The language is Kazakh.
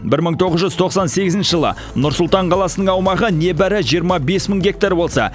бір мың тоғыз жүз тоқсан сегізінші жылы нұр сұлтан қаласының аумағы небәрі жиырма бес мың гектар болса